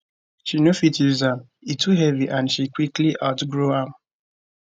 but she no fit use am e too heavy and she quickly outgrow am